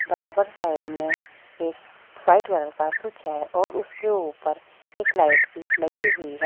बराबर साइड में एक व्हाइट कलर का स्विच है और उसके ऊपर एक लाइट भी लगी हुई है।